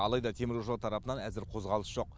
алайда теміржол тарапынан әзір қозғалыс жоқ